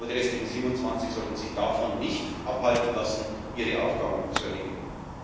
Aber die restlichen 27 sollten sich nicht davon abhalten lassen, ihre Aufgaben zu erledigen.